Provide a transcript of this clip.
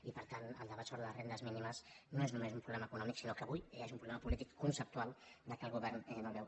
i per tant el debat sobre les rendes mínimes no és només un problema econòmic sinó que avui ja és un problema polític conceptual que el govern no veu